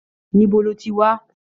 Níbo lo tí wá?